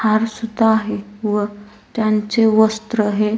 हार सुद्धा आहे व त्यांचे वस्त्र हे --